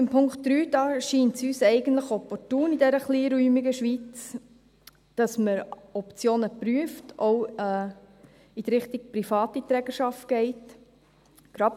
Beim Punkt 3 scheint es uns in der kleinräumigen Schweiz eigentlich opportun, dass man Optionen prüft und auch in Richtung private Trägerschaft geht;